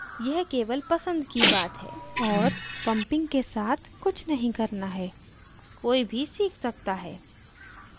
यह केवल पसंद की बात है और pumping के साथ कुछ नहीं करना है कोई भी सीख सकता है